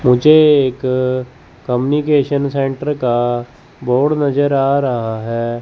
मुझे एक communication centre का बोर्ड नजर आ रहा है।